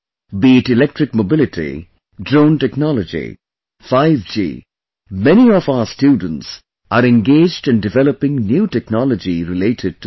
Be it electric mobility, drone technology, 5G, many of our students are engaged in developing new technology related to them